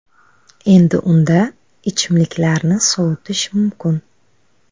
Endi unda ichimliklarni sovutish mumkin.